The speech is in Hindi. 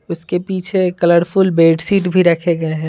उसके पीछे कलरफुल बेडशीट भी रखे गए हैं।